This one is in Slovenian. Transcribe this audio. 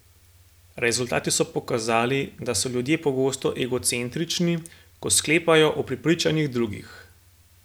Rezultati so pokazali, da so ljudje pogosto egocentrični, ko sklepajo o prepričanjih drugih.